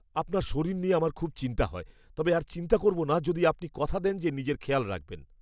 আপনার শরীর নিয়ে আমার খুব চিন্তা হয়, তবে আর চিন্তা করব না যদি আপনি কথা দেন যে নিজের খেয়াল রাখবেন।